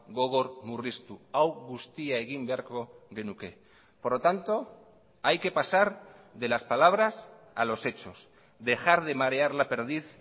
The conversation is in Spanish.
gogor murriztu hau guztia egin beharko genuke por lo tanto hay que pasar de las palabras a los hechos dejar de marear la perdiz